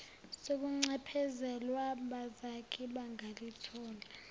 sokuncephezelwa bazathi bangalithola